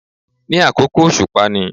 Ní àkókò òsùpá ni